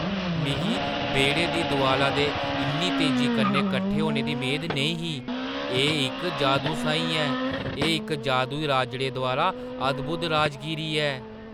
मिगी बेह्‌ड़े दी दोआला दे इन्नी तेजी कन्नै कट्ठे होने दी मेद नेईं ही, एह् इक जादू साहीं ऐ! एह् इक जादूई राजड़े द्वारा अद्भुत राजगीरी ऐ।